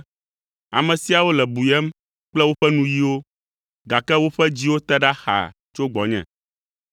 “ ‘Ame siawo le buyem kple woƒe nuyiwo, gake woƒe dziwo te ɖa xaa tso gbɔnye.